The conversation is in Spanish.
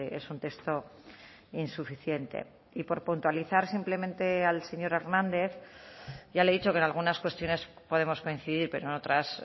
es un texto insuficiente y por puntualizar simplemente al señor hernández ya le he dicho que en algunas cuestiones podemos coincidir pero en otras